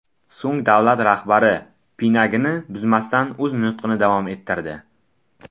So‘ng davlat rahbari pinagini buzmasdan o‘z nutqini davom ettirdi.